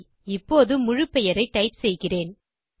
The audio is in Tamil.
சரி இப்போது என் முழு பெயரை டைப் செய்கிறேன்